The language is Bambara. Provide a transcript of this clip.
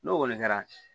N'o kɔni kɛra